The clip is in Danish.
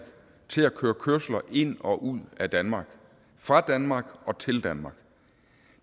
til at køre kørsler ind og ud af danmark fra danmark og til danmark